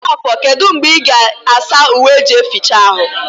Mgbafo kedụ mgbe ị ga asa uwe eji eficha arụ?